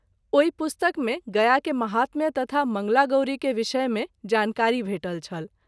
ओहि पुस्तक मे गया के महात्म्य तथा मंगला गौरी के विषय मे जानकारी भेटल छल।